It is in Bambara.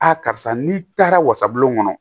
karisa n'i taara wasabulon kɔnɔ